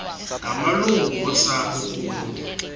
ngamalungu osapho kunye